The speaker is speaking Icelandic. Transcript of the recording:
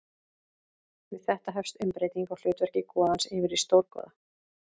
Við þetta hefst umbreyting á hlutverki goðans yfir í stórgoða.